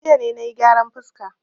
Jiya ne na yi gyaran fuska.